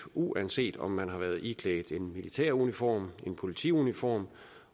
uanset om man har været iklædt en militæruniform en politiuniform